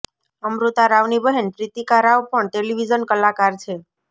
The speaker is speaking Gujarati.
અમૃતા રાવની બહેન પ્રીતિકા રાવ પણ ટેલિવિઝન કલાકાર છે